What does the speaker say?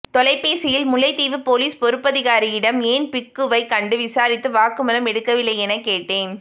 தொலைபேசியில் முல்லைத்தீவு பொலிஸ் பொறுப்பதிகாரியிடம் ஏன் பிக்குவை கண்டு விசாரித்து வாக்குமூலம் எடுக்கவில்லை என கேட்டேன்